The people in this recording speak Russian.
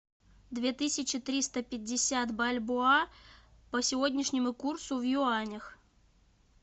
две тысячи триста пятьдесят бальбоа по сегодняшнему курсу в юанях